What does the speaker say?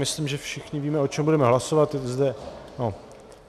Myslím, že všichni víme, o čem budete hlasovat...